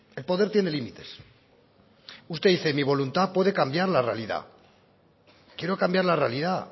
el poder tiene límites usted dice mi voluntad puede cambiar la realidad quiero cambiar la realidad